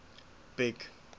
big